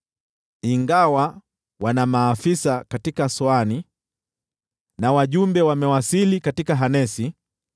Ingawa wana maafisa katika Soani na wajumbe wamewasili katika Hanesi,